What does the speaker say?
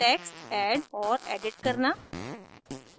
text add और edit करना